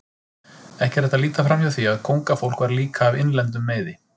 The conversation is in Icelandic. Ekki er hægt að líta framhjá því að kóngafólk var líka af innlendum meiði.